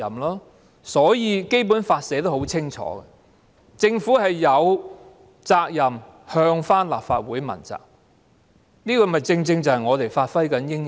因此，《基本法》清楚訂明，政府有責任向立法會問責，這正正是我們應發揮的作用。